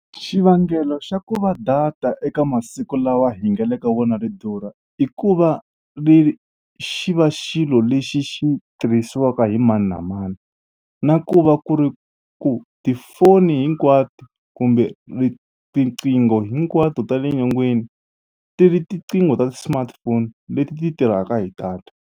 Xivangelo xa ku va data eka masiku lawa hi nga le ka wona ri durha i ku va ri ri xi va xilo lexi xi tirhisiwaka hi mani na mani na ku va ku ri ku tifono hinkwato kumbe ri tiqingho hinkwato ta le nyongeni ti ri tiqingho ta ti-smartphone leti ti tirhaka hi data.